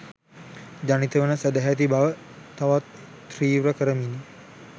ජනිත වන සැදැහැති බව තවත් තිවෘ කරමිනි.